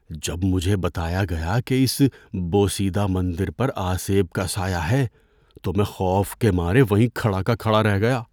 ‏جب مجھے بتایا گیا کہ اس بوسیدہ مندر پر آسیب کا سایہ ہے تو میں خوف کے مارے وہیں کھڑا کہ کھڑا رہ گیا۔